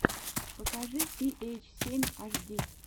покажи си эйч семь аш ди